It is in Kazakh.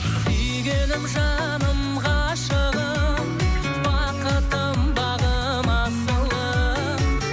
сүйгенім жаным ғашығым бақытым бағым асылым